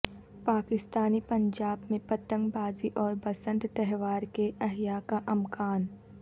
پاکستانی پنجاب میں پتنگ بازی اور بسنت تہوار کے احیا کا امکان